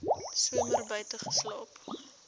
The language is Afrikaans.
somer buite geslaap